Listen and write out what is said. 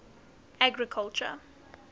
agriculture